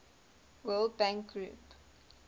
world bank group